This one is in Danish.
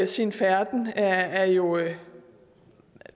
sin færden er jo